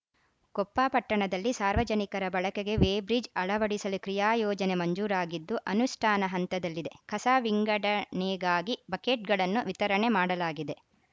ಕೊಪ್ಪ ಪಟ್ಟಣದಲ್ಲಿ ಸಾರ್ವಜನಿಕರ ಬಳಕೆಗೆ ವೇಬ್ರಿಡ್ಜ್‌ ಅಳವಡಿಸಲು ಕ್ರಿಯಾಯೋಜನೆ ಮಂಜೂರಾಗಿದ್ದು ಅನುಷ್ಠಾನ ಹಂತದಲ್ಲಿದೆ ಕಸ ವಿಂಗಡಣೆಗಾಗಿ ಬಕೆಟ್‌ಗಳನ್ನು ವಿತರಣೆ ಮಾಡಲಾಗಿದೆ